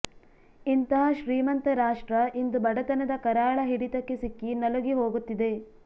ಇಂತಹ ಶ್ರೀಮಂತ ರಾಷ್ಟ್ರ ಇಂದು ಬಡತನದ ಕರಾಳ ಹಿಡಿತಕ್ಕೆ ಸಿಕ್ಕಿ ನಲುಗಿ ಹೋಗುತ್ತಿದೆ